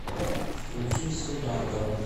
включи сенатора